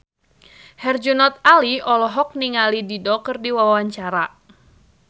Herjunot Ali olohok ningali Dido keur diwawancara